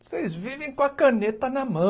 Vocês vivem com a caneta na